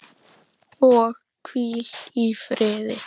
Og hvíl í friði.